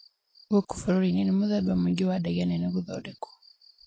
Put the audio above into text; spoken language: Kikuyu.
Gúkú búrúrini ni múthemba mwingĩ wa ndege nene kúthondekwa